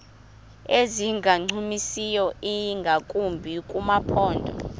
ezingancumisiyo ingakumbi kumaphondo